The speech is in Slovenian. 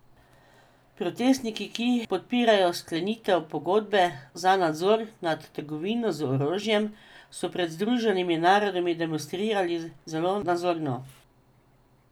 Protestniki, ki podpirajo sklenitev pogodbe za nadzor nad trgovino z orožjem, so pred Združenimi narodi demonstrirali zelo nazorno.